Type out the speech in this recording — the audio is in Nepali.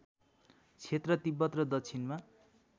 क्षेत्र तिब्बत र दक्षिणमा